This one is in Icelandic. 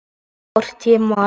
Hvort ég man.